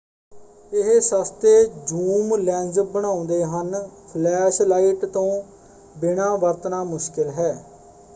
ਇਹ ਸਸਤੇ zoom lens ਬਣਾਉਂਦੇ ਹਨ ਫਲੈਸ਼ ਲਾਈਟ ਤੋਂ ਬਿਨਾਂ ਵਰਤਣਾ ਮੁਸ਼ਕਿਲ ਹੈ।